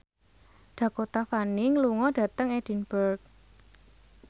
Dakota Fanning lunga dhateng Edinburgh